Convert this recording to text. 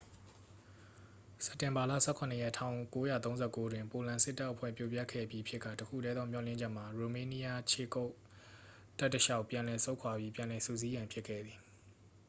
စက်တင်ဘာလ 17 ရက် 1939 တွင် ပိုလန်စပ်တပ်အဖွဲ့ ပြိုပျက်ခဲ့ပြီးဖြစ်ကာ တစ်ခုတည်းသော မျှော်လင့်ချက်မှာ ရိုမေးနီးယား ခြေကုပ်တပ်တစ်လျှောက် ပြန်လည်ဆုတ်ခွာပြီး ပြန်လည်စုစည်းရန် ဖြစ်ခဲ့သည်